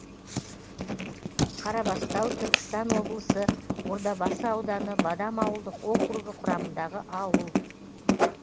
қарабастау түркістан облысы ордабасы ауданы бадам ауылдық округі құрамындағы ауыл